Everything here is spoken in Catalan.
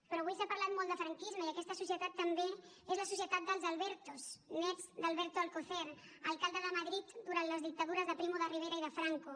però avui s’ha parlat molt de franquisme i aquesta societat també és la societat dels albertos nets d’alberto alcocer alcalde de madrid durant les dictadures de primo de rivera i de franco